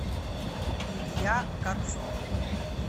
илья катцон